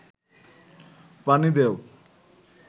পানি দেও